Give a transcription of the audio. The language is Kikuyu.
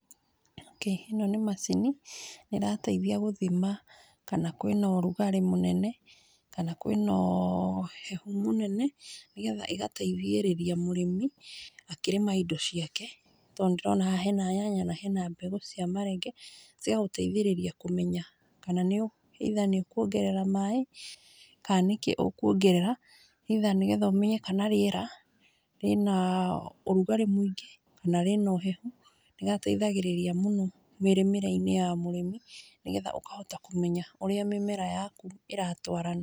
Okay, ĩno nĩ macini ĩrateithia gũthima kana kwĩ na ũrũgarĩ mũnene, kana kwĩ na ũhehu mũnene, nĩgetha ĩgateithĩrĩria mũrĩmi akĩrĩma indo ciake, tondũ nĩ ndĩrona haha he na nyanya, na he na mbegũ cia marenge, cigaguteithĩrĩria kũmenya kana either nĩũkũongerera maĩ kana nĩkĩ ũkũongerera either, nĩgetha ũmenye kana rĩera rĩna ũrũgarĩ mũingĩ kana rĩna ũhehu nĩgateithagĩrĩria mũno mĩrĩmĩre-inĩ ya mũrĩmi nĩgetha ũkahota kũmenya ũrĩa mĩmera yaku ĩratwarana.